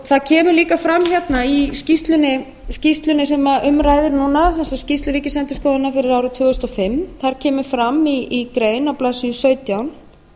það kemur líka fram í skýrslunni sem um ræðir núna þessari skýrslu ríkisendurskoðunar fyrir árið tvö þúsund og fimm þar kemur fram í grein á blaðsíðu sautján